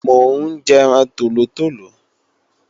Mò ń jẹran tòlótòló